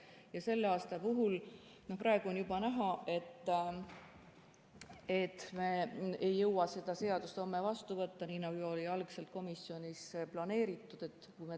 Ja selle aasta puhul, praegu on juba näha, et me ei jõua seda seadust homme vastu võtta, nii nagu oli algselt komisjonis planeeritud.